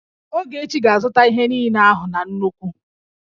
Ogechi ga-azụta ihe niile ahụ na nnukwu